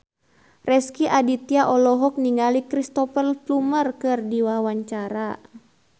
Rezky Aditya olohok ningali Cristhoper Plumer keur diwawancara